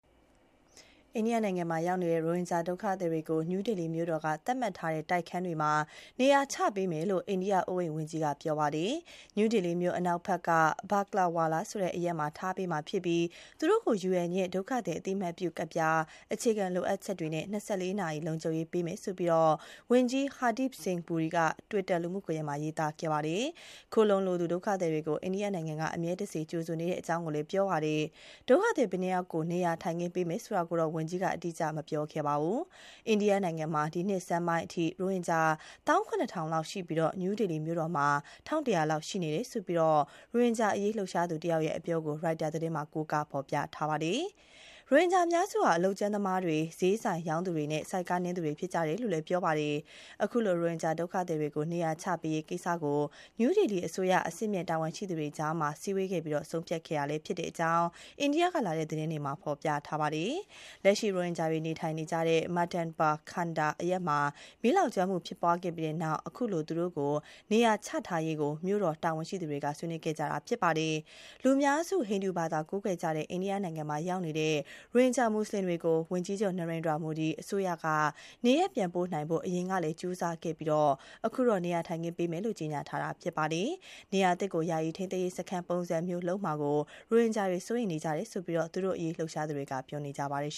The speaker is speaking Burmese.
အိန္ဒိယနိုင်ငံမှာ ရောက်နေတဲ့ ရိုဟင်ဂျာဒုက္ခသည်တွေကို နယူးဒေလီမြို့တော်က သတ်မှတ်ထားတဲ့တိုက်ခန်းတွေမှာ နေရာချပေးမယ်လို့ အိန္ဒိယအိုးအိမ်ဝန်ကြီးက ပြောကြားလိုက်ပါတယ်။ နယူးဒေလီမြို့အနောက်ဘက်က Bakkarwala ဆိုတဲ့ အရပ်မှာထားပေးမှာဖြစ်ပြီး သူတို့ကို UN ရဲ့ ဒုက္ခသည်အသိအမှတ်ပြုကဒ်ပြား၊ အခြေခံလိုအပ်ချက်တွေနဲ့ ၂၄ နာရီ လုံခြုံရေးပေးမယ်လို့ ဝန်ကြီး Hardeep Singh Puri က Twitter လူမှုကွန်ယက်မှာ ရေးသားပြောဆိုခဲ့တာပါ။ ခိုလှုံလိုသူ ဒုက္ခသည်တွေကို အိန္ဒိယနိုင်ငံက အမြဲတစေကြိုဆိုနေပါတယ်လို့လည်းဆိုပါတယ်။ ဒုက္ခသည်ဘယ်နှယောက်ကို နေရာထိုင်ခင်းပေးမှာလဲဆိုတာကိုတော့ ဝန်ကြီးက အတိအကျ ပြောဆိုခြင်း မရှိပါဘူး။ အိန္ဒိယနိုင်ငံမှာ ဒီနှစ်ဆန်းပိုင်းအထိ ရိုဟင်ဂျာ ၁၇,၀၀၀ လောက်ရှိပြီး New Delhi မြို့မှာ ၁,၁၀၀ လောက်ရှိနေတယ်လို့ ရိုဟင်ဂျာအရေး လှုပ်ရှားသူတယောက်ရဲ့ အပြောကို Reuters သတင်းမှာ ကိုးကားဖော်ပြပါတယ်။ ရိုဟင်ဂျာအများစုဟာ အလုပ်ကြမ်းသမားတွေ၊ ဈေးဆိုင်ရောင်းသူတွေနဲ့ ဆိုက်ကားနင်းသူတွေ ဖြစ်ကြတယ်လို့ ပြောပါတယ်။ အခုလို ရိုဟင်ဂျာဒုက္ခသည်တွေကို နေရာချပေးရေးကိစ္စကို New Delhi အစိုးရ အဆင့်မြင့်တာဝန်ရှိသူတွေကြား စည်းဝေးခဲ့ပြီး ဆုံးဖြတ်ခဲ့တာဖြစ်တယ်လို့ အိန္ဒိယကလာတဲ့သတင်းတွေမှာ ဖော်ပြပါတယ်။ လက်ရှိ ရိုဟင်ဂျာတွေနေထိုင်နေကြတဲ့ Madanpur Khadar အရပ်မှာ မီးလောင်ကျွမ်းမှုဖြစ်ပွားခဲ့ပြီးနောက်မှာ ခုလို သူတို့ကို နေရာချထားရေးကို မြို့တော်တာဝန်ရှိသူတွေ ဆွေးနွေးခဲ့ကြတာဖြစ်ပါတယ်။ လူများစု ဟိန္ဒူဘာသာကိုးကွယ်နေတဲ့ အိန္ဒိယနိုင်ငံမှာရောက်နေတဲ့ ရိုဟင်ဂျာမွတ်ဆလင်တွေကို ဝန်ကြီးချုပ် Narendra Modi အစိုးရက နေရပ်ပြန်ပို့နိုင်ဖို့ အရင်က ကြိုးစားခဲ့ပြီး အခုတော့ နေရာထိုင်ခင်းပေးမယ်လို့ ကြေညာတာဖြစ်ပါတယ်။ နေရာသစ်ကို ယာယီထိန်းသိမ်းရေးစခန်းပုံစံမျိုးလုပ်မှာ ရိုဟင်ဂျာတွေ စိုးရိမ်နေကြတယ်လို့ သူတို့အရေးလှုပ်ရှားသူတွေက ပြောပါတယ်